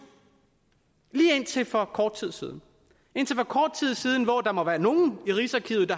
lige indtil for kort tid siden hvor der var nogle i rigsarkivet